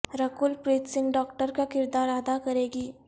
Rakul Preet Singh doctor کا کردار ادا کریں گی